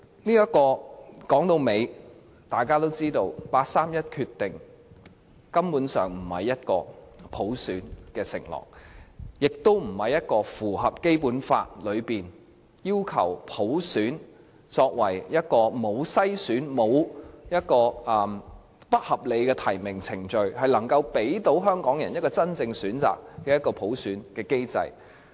然而，說到底，大家都知道，八三一方案根本不是普選的承諾，也不符合《基本法》所訂沒有篩選及沒有不合理提名程序，並能夠給予香港人真正選擇的普選機制。